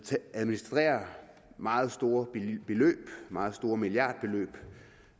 administrerer meget store beløb meget store milliardbeløb